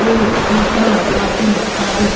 ओर यहां पर काफी सारे।